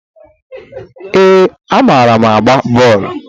Ee, amaara m agba bọọlu.